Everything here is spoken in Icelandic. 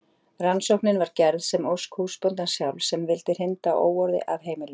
rannsóknin var gerð að ósk húsbóndans sjálfs sem vildi hrinda óorði af heimilinu